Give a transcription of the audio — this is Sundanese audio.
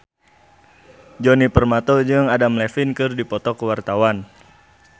Djoni Permato jeung Adam Levine keur dipoto ku wartawan